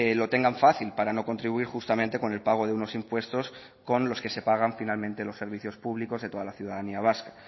lo tengan fácil para no contribuir justamente con el pago de unos impuestos con los que se pagan finalmente los servicios públicos de toda la ciudadanía vasca